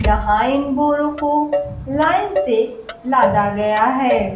यहां इन बोरों को लाइन से लादा गया है।